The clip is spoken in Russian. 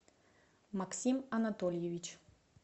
максим анатольевич